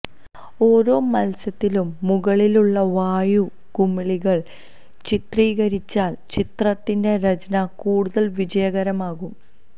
ഓരോ മത്സ്യത്തിലും മുകളിലുള്ള വായു കുമിളകൾ ചിത്രീകരിച്ചാൽ ചിത്രത്തിന്റെ രചന കൂടുതൽ വിജയകരമാകും